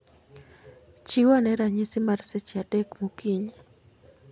Chiw ane ranyisi mar seche adek mokinyi